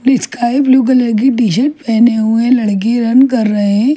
Sky blue colour की T-shirt पहने हुए लड़की रन कर रहे हैं।